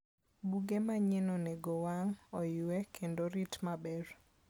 Buge manyien onego owang', oywe, kendo orit maber.